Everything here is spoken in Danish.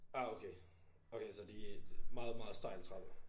Ah okay okay så de meget meget stejl trappe